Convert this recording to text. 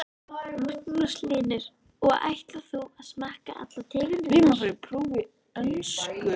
Magnús Hlynur: Og ætlar þú að smakka allar tegundirnar?